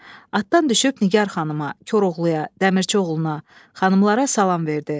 Atdan düşüb Nigər xanıma, Koroğluya, Dəmirçioğluna, xanımlara salam verdi.